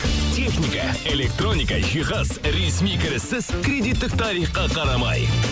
техника электроника жихаз ресми кіріссіз кредиттік тарихқа қарамай